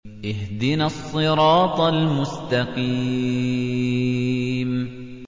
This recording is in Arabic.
اهْدِنَا الصِّرَاطَ الْمُسْتَقِيمَ